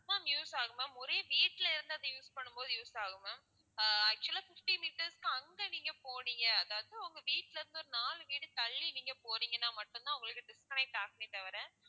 ma'am use ஆகும் ma'am ஒரே வீட்டுல இருந்து அதை use பண்ணும் போது use ஆகும் ma'am ஆஹ் actual ஆ fifteen meters க்கு அங்க நீங்க போனீங்க அதாவது உங்க வீட்டுல இருந்து ஒரு நான்கு வீடு தள்ளி நீங்க போறீங்கன்னா மட்டும் தான் உங்களுக்கு disconnect ஆகுமே தவிர